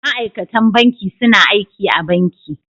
Ma'aikatan banki suna aiki a banki.